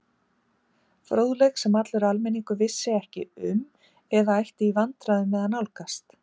Fróðleik, sem allur almenningur vissi ekki um eða ætti í vandkvæðum með að nálgast.